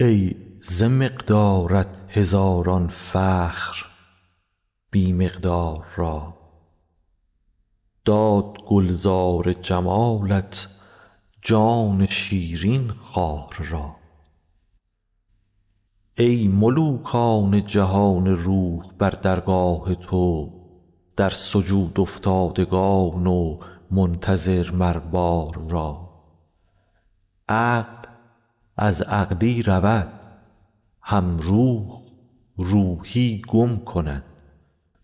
ای ز مقدارت هزاران فخر بی مقدار را داد گلزار جمالت جان شیرین خار را ای ملوکان جهان روح بر درگاه تو در سجودافتادگان و منتظر مر بار را عقل از عقلی رود هم روح روحی گم کند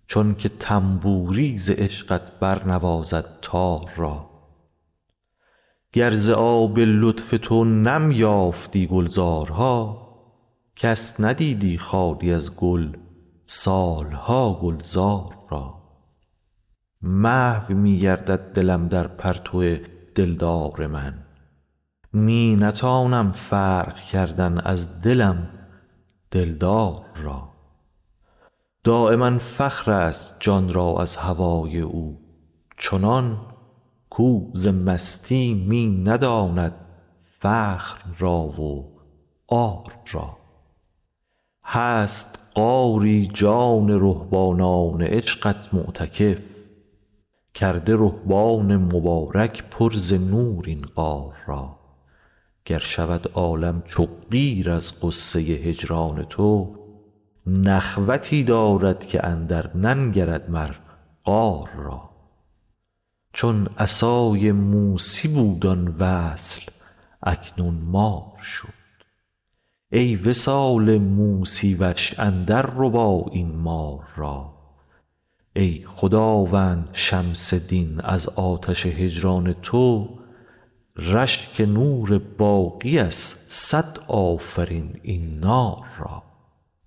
چونک طنبوری ز عشقت برنوازد تار را گر ز آب لطف تو نم یافتی گلزارها کس ندیدی خالی از گل سال ها گلزار را محو می گردد دلم در پرتو دلدار من می نتانم فرق کردن از دلم دلدار را دایما فخرست جان را از هوای او چنان کو ز مستی می نداند فخر را و عار را هست غاری جان رهبانان عشقت معتکف کرده رهبان مبارک پر ز نور این غار را گر شود عالم چو قیر از غصه هجران تو نخوتی دارد که اندرننگرد مر قار را چون عصای موسی بود آن وصل اکنون مار شد ای وصال موسی وش اندرربا این مار را ای خداوند شمس دین از آتش هجران تو رشک نور باقی ست صد آفرین این نار را